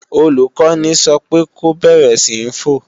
Olùkọ́ni sọ pé ko bẹ̀rẹ̀ sí ń fò!